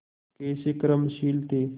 कैसे कर्मशील थे